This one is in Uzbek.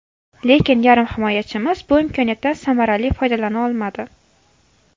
Lekin yarim himoyachimiz bu imkoniyatdan samarali foydalana olmadi.